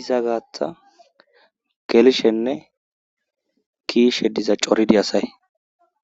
iza gaatha gelishenne kiishe diza coridi asay.